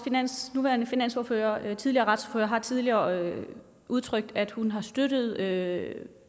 nuværende finansordfører og tidligere retsordfører har tidligere udtrykt at hun støttede